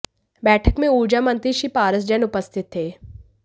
बैठक में ऊर्जा मंत्री श्री पारस जैन उपस्थित थे